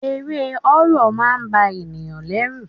Eré horror máà ń ba ènìyàn lẹ́rù.